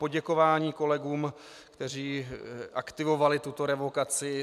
Poděkování kolegům, kteří aktivovali tuto revokaci.